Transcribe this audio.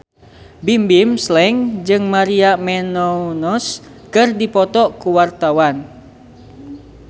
Bimbim Slank jeung Maria Menounos keur dipoto ku wartawan